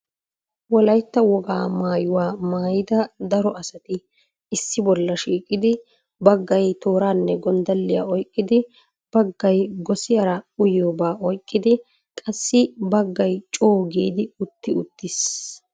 Wolaytta wogaa maaytuwaa maayyida daro asati issi bolla shiiqidi baggaay tooranne gonddaliya oyqqidi, baggaay gossiyaara uyyiyooba oyqqidi qassi baggay coo giidi utti ittiis.